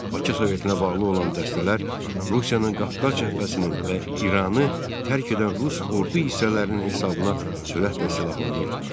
Bakı Sovetinə bağlı olan dəstələr Rusiyanın Qafqaz cəbhəsinin və İranı tərk edən rus ordu hissələrinin hesabına sürətlə silahlanırdılar.